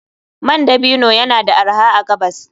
Man dabino yana da arha a gabas.